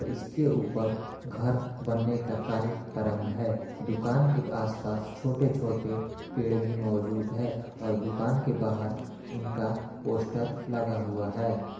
इसके ऊपर घर बनने का कार्य प्रारंभ है दुकान के आस-पास छोटे-छोटे पेड़ भी मौजूद है और दुकान के बाहर उनका पोस्टर लगा हुआ है।